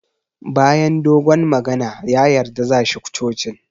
Bayan dogon magana, ya yarda za shi cocin